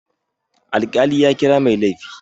Alƙali ya kira mai laifi.